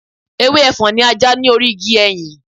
Ewé Ẹfọ́n ni a já ní orí igi ẹyìn.